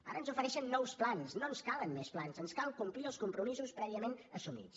ara ens ofereixen nous plans no ens calen més plans ens cal complir els compromisos prèviament assumits